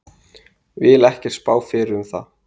Vil ekkert spá fyrir um það.